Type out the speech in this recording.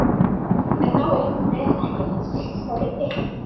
en nái einhvern veginn ekki festu í sárri kviku